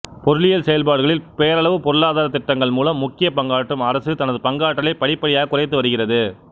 பொருளியல் செயல்பாடுகளில் பேரளவு பொருளாதாரத் திட்டங்கள்மூலம் முக்கிய பங்காற்றும் அரசு தனது பங்காற்றலை படிப்படியாகக் குறைத்து வருகிறது